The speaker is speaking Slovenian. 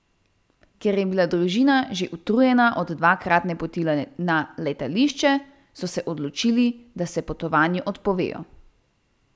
Ker je bila družina že utrujena od dvakratne poti na letališče, so se odločili, da se potovanju odpovejo.